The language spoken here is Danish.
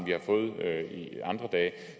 vi har fået andre dage